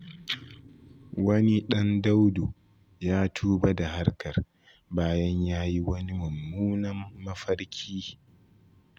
Wani ɗan Daudu ya tuba da harkar, bayan yayi wani mummunan mafarki.